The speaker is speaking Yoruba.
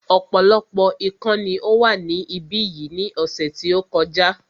Ọ̀pọ̀lọpọ̀ ikán ni ó wà ní ibí yìí ní ọ̀sẹ̀ tí ó kọjá